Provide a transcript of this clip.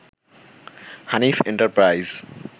Hanif enterprise